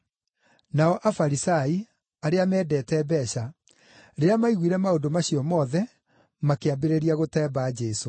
Nao Afarisai, arĩa meendete mbeeca, rĩrĩa maiguire maũndũ macio mothe, makĩambĩrĩria gũtemba Jesũ.